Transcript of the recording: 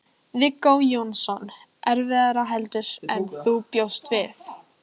Viggó Jónsson: Erfiðara heldur en þú bjóst við?